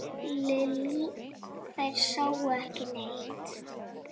Lillý: Þeir sáu ekki neitt?